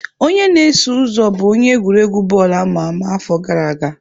Onye na-eso ụzọ bụ onye egwuregwu bọọlụ ama ama afọ gara aga.